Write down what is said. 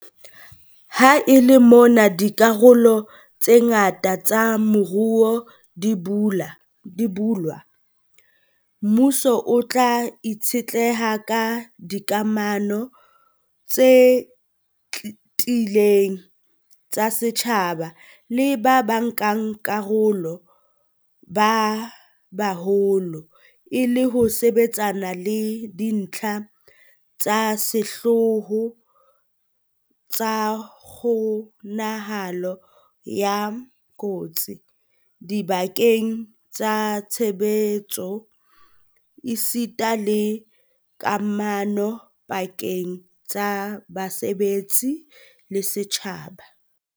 Ha e le mona dikarolo tse ngata tsa moruo di bulwa, mmuso o tla itshetleha ka dikamano tse tiileng tsa setjhaba le bankakarolo ba baholo e le ho sebetsana le dintlha tsa sehlooho tsa kgo-nahalo ya kotsi dibakeng tsa tshebetso esita le kamano pa-keng tsa basebetsi le setjhaba.